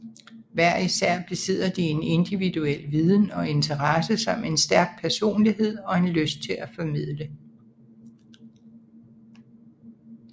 Hver især besidder de en individuel viden og interesse samt en stærk personlighed og en lyst til at formidle